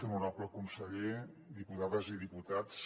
honorable conseller diputades i diputats